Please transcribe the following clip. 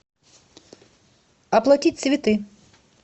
оплатить цветы